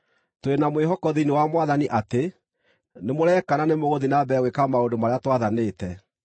Tũrĩ na mwĩhoko thĩinĩ wa Mwathani atĩ nĩmũreeka na nĩmũgũthiĩ na mbere gwĩka maũndũ marĩa twathanĩte.